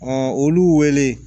olu wele